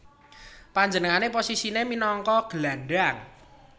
Panjenengané posisiné minangka gelandang